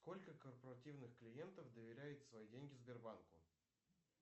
сколько корпоративных клиентов доверяет свои деньги сбербанку